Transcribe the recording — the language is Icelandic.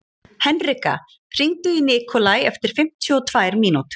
Henrika, hringdu í Nikolai eftir fimmtíu og tvær mínútur.